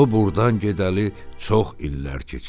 O burdan gedəli çox illər keçib.